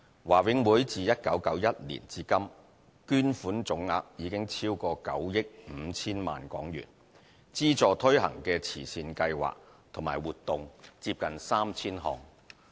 華永會自1991年至今，捐款總額超過9億 5,000 萬港元，資助推行的慈善計劃及活動接近 3,000 項。